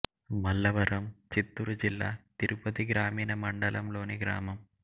మల్లవరం చిత్తూరు జిల్లా తిరుపతి గ్రామీణ మండలం లోని గ్రామం